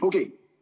Okei.